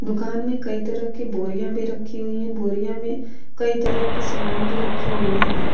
दुकान में कई तरह कि बोरिया भी रखी हुई है कई तरह के सामान भी रखी हुई है।